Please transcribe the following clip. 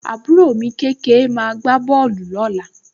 àbúrò mi kékeé lọ́kùnrin máa gbá bọ́ọ̀lù lọ́la